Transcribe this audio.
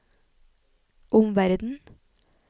omverden